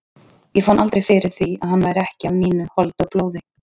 Ég fann aldrei fyrir því að hann væri ekki af mínu holdi og blóði.